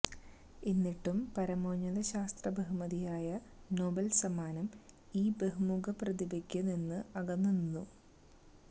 എന്നിട്ടും പരമോന്നത ശാസ്ത്ര ബഹുമതിയായ നൊബേല് സമ്മാനം ഈ ബഹുമുഖ പ്രതിഭയില് നിന്ന് അകന്നുനിന്നു